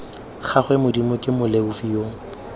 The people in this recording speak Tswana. gagwe modimo ke moleofi yo